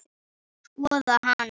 Skoða hana?